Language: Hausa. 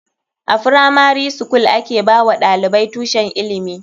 A firamari skul a ke ba wa ɗalibai tushen ilimi.